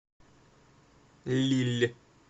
лилль